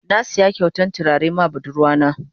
Na siya kyautan tulare ma budurwa na.